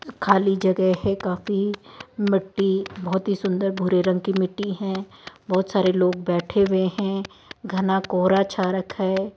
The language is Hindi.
खाली जगह है काफी मिट्टी बहोत ही सुंदर भूरे रंग की मिट्टी है बहोत सारे लोग बैठे हुए हैं घना कोहरा छा रखा है।